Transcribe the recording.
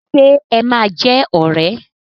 Ṣe ẹ máa jẹ́ ọ̀rẹ́?